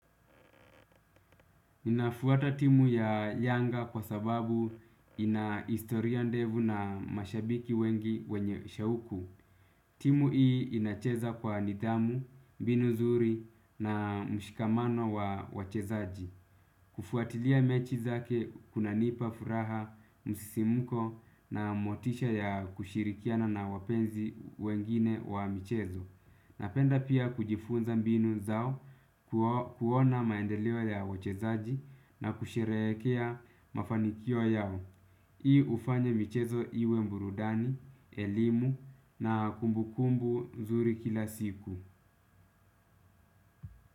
Nafuata timu ya yanga kwa sababu ina historia ndefu na mashabiki wengi wenye shauku. Timu hii inacheza kwa nidhamu, mbinu zuri na mshikamano wa wachezaji. Kufuatilia mechi zake kunanipa furaha, msisimuko na motisha ya kushirikiana na wapenzi wengine wa mchezo. Napenda pia kujifunza mbinu zao kuona maendeleo ya wachezaji na kusherehekea mafanikio yao. Hii hufanya michezo iwe burudani, elimu na kumbukumbu nzuri kila siku.